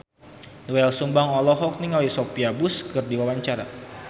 Doel Sumbang olohok ningali Sophia Bush keur diwawancara